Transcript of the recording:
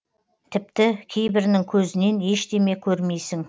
тіпті кейбірінің көзінен ештеме көрмейсің